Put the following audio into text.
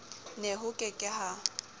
nebank ho ke ke ha